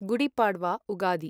Gudi Padwa Ugadi